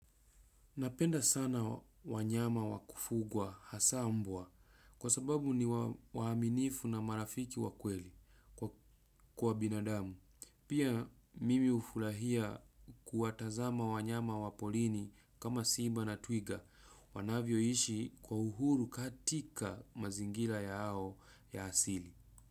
Napenda sana wanyama wakufugwa hasa mbwa, kwa sababu ni waaminifu na marafiki wa kweli kwa binadamu. Pia nafurahia kuwatazama wanyama wa porini kama simba na twiga wanavyoishi kwa uhuru katika mazingira yao ya asili.